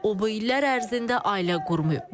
O bu illər ərzində ailə qurmayıb.